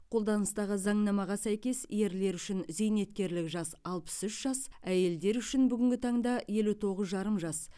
қолданыстағы заңнамаға сәйкес ерлер үшін зейнеткерлік жас алпыс үш жас әйелдер үшін бүгінгі таңда елу тоғыз жарым жас